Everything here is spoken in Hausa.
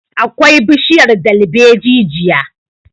akwai bishiyar dalbaejijia